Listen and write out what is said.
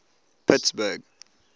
pittsburgh